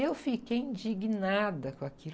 Eu fiquei indignada com aquilo.